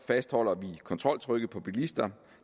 fastholder vi kontroltrykket på bilister